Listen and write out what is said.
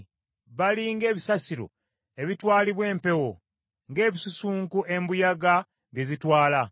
Bali ng’ebisasiro ebitwaalibwa empewo; ng’ebisusunku embuyaga bye zitwala.